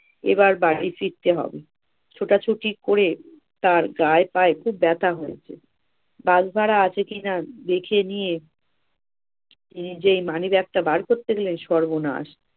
এবার বাড়ি ফিরতে হবে ছোটাছুটি করে তার গায়ে পায়ে খুব ব্যথা হয়েছে। বাস ভাড়া আছে কিনা দেখে নিয়ে নিজেই money bag টা বার করতে দিলেন সর্বনাশ!